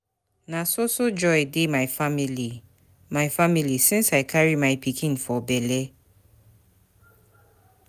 Na so so joy dey my family my family since I carry my pikin for bele.